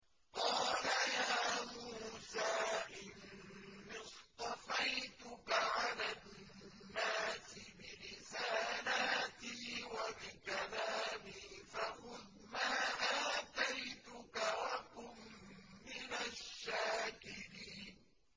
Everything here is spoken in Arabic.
قَالَ يَا مُوسَىٰ إِنِّي اصْطَفَيْتُكَ عَلَى النَّاسِ بِرِسَالَاتِي وَبِكَلَامِي فَخُذْ مَا آتَيْتُكَ وَكُن مِّنَ الشَّاكِرِينَ